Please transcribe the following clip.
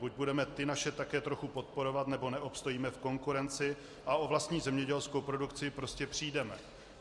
Buď budeme ty naše také trochu podporovat, nebo neobstojíme v konkurenci a o vlastní zemědělskou produkci prostě přijdeme